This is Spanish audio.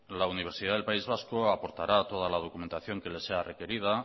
la universidad del país vasco aportará toda la documentación que le sea requerida